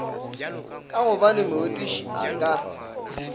ka gobane morutiši a ka